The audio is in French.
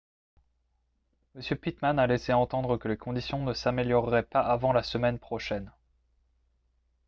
m pittman a laissé entendre que les conditions ne s'amélioreraient pas avant la semaine prochaine